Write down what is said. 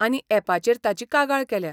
आनी यॅपाचेर ताची कागाळ केल्या.